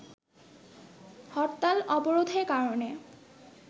হরতাল-অবরোধের কারণে